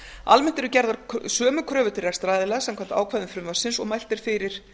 almennt eru gerðar sömu kröfur til rekstraraðila samkvæmt ákvæðum frumvarpsins og mælt er fyrir